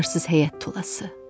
Arsız həyət tulası.